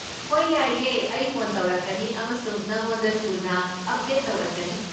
ꯍꯣꯏ, ꯌꯥꯏꯌꯦ, ꯑꯩ ꯐꯣꯟ ꯇꯧꯔꯛꯀꯅꯤ ꯑꯃꯁꯨꯡ ꯅꯉꯣꯟꯗ ꯊꯨꯅ ꯑꯞꯗꯦꯠ ꯇꯧꯔꯛꯀꯅꯤ꯫